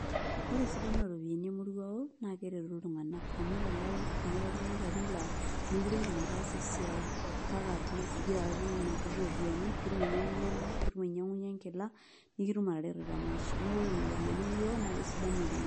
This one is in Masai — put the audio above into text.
Ore esidano ooropiyiani emoruao naa keretu iltung'anak amu yiolo kenya teneku oltung'ani ilarrin laa meekure iidim ataasa esiai kake ore atleast igira atum nena kuti ropiyiani pee itum ainyiang'unyie endaa piitum ainyang'unyie enkila nikitum ataretu temaisha neeku ore kuna ropiyiani emoruao na kesidan oleng'.